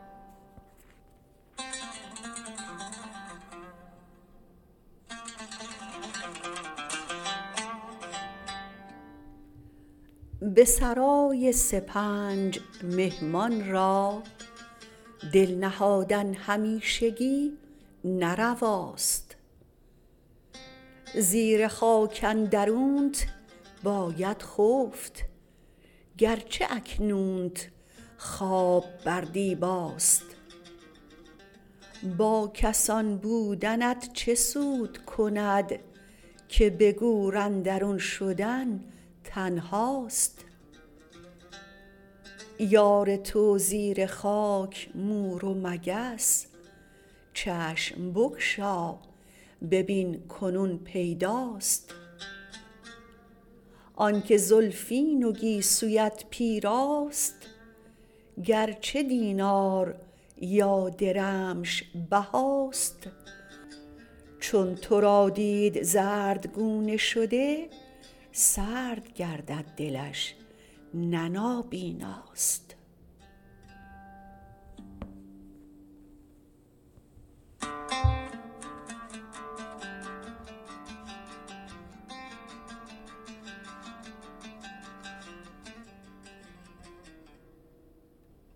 به سرای سپنج مهمان را دل نهادن همیشگی نه رواست زیر خاک اندرونت باید خفت گرچه اکنونت خواب بر دیباست با کسان بودنت چه سود کند که به گور اندرون شدن تنهاست یار تو زیر خاک مور و مگس چشم بگشا ببین کنون پیداست آن که زلفین و گیسویت پیراست گرچه دینار یا درمش بهاست چون ترا دید زردگونه شده سرد گردد دلش نه نابیناست